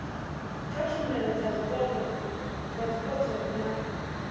kha tshumelo dza zwipotso na